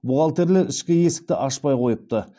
бухгалтерлер ішкі есікті ашпай қойыпты